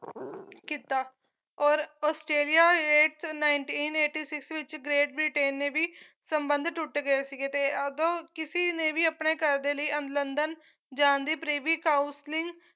ਕੀਤਾ ਔਰ Australia nineteen eighty six ਵਿੱਚ great ਬ੍ਰਿਟੇਨ ਨੇ ਵੀ ਸੰਬੰਧ ਟੁੱਟ ਗਏ ਸੀਗੇ ਤੇ ਓਦੋਂ ਕਿਸੀ ਨੇ ਵੀ ਆਪਣੇ ਘਰ ਦੇ ਲਈ ਜਾਣ ਦੀ ਪਰੇਵੀ counseling